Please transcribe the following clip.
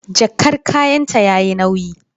Jakar kayanta yayi nauyi.